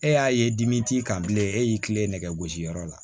E y'a ye dimi t'i kan bilen e y'i tilen nɛgɛ gosiyɔrɔ la